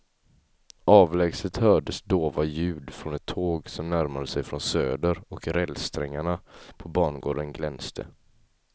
Avlägset hördes dova ljud från ett tåg som närmade sig från söder och rälssträngarna på bangården glänste.